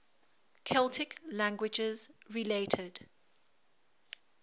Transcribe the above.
celtic languages related